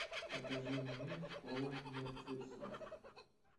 покажи мне школа мертвецов